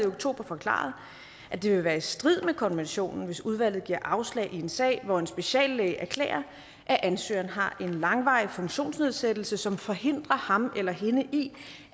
oktober forklaret at det vil være i strid med konventionen hvis udvalget giver afslag i en sag hvor en speciallæge erklærer at ansøgeren har en langvarig funktionsnedsættelse som forhindrer ham eller hende i